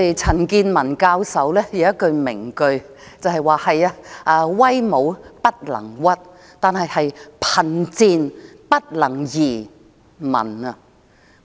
陳健民教授有一句名句，就是"威武不能屈，貧賤不能移民"。